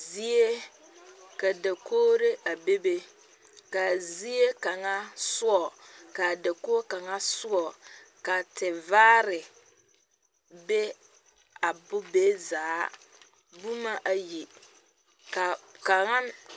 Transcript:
Zie ka dakogre a bebe ka zie kaŋa soɔ ka a dakog kaŋa soɔ ka tevaare be a bo be zaa boma ayi ka kaŋa.